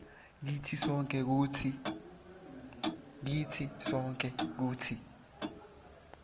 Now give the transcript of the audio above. kitsi sonkhe kutsi